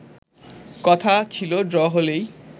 কথা ছিল ড্র হলেই